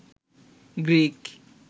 Greek